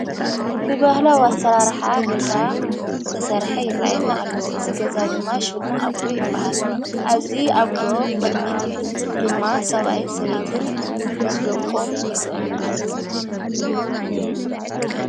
ብበህላዋ ኣሰራርሓ ገዛ ተሠርሐ ይረየና ኣለዉ እዝ ገዛ ድማ ሹሙ ኣጕዶ ይበሃል ኣዙይ ኣጕዶ ቕድሚት ድማ ሰብኣይን ሰበይትን ምስ ዶቆም ይርአና ኣለዉ።